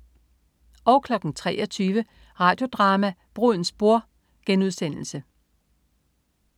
23.00 Radio Drama: Brudens bror*